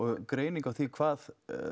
greining á því hvað